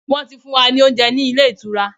Wọ́n ti fún wa ní oúnjẹ ní ilé ìtura.